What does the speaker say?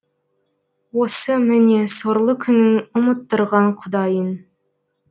осы міне сорлы күнің ұмыттырған құдайын